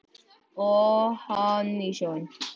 Og hann í sjóinn.